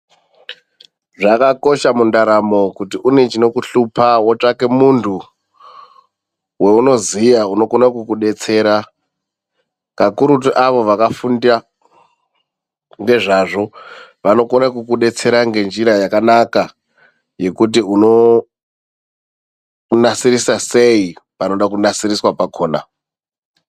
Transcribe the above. Zvakakosha kuti mundaramo kuti une chinokuhlupa, wotsvake muntu wounoziya unokone kukudetserera kakurutu avo vakafunda ngezvazvo vanokona kudetsera ngenjira yakanaka yekuti unonasirisa sei panenge panode kunasiriswa pakhona.